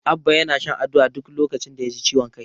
Abba yana shan Aduwa duk lokacin da yaji ciwon kai.